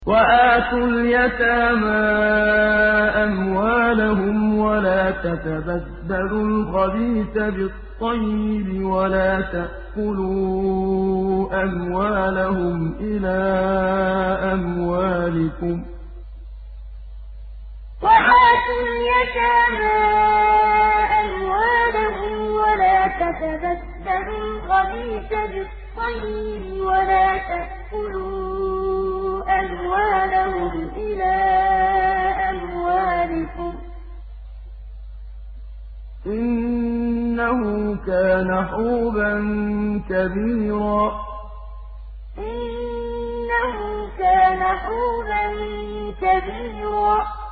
وَآتُوا الْيَتَامَىٰ أَمْوَالَهُمْ ۖ وَلَا تَتَبَدَّلُوا الْخَبِيثَ بِالطَّيِّبِ ۖ وَلَا تَأْكُلُوا أَمْوَالَهُمْ إِلَىٰ أَمْوَالِكُمْ ۚ إِنَّهُ كَانَ حُوبًا كَبِيرًا وَآتُوا الْيَتَامَىٰ أَمْوَالَهُمْ ۖ وَلَا تَتَبَدَّلُوا الْخَبِيثَ بِالطَّيِّبِ ۖ وَلَا تَأْكُلُوا أَمْوَالَهُمْ إِلَىٰ أَمْوَالِكُمْ ۚ إِنَّهُ كَانَ حُوبًا كَبِيرًا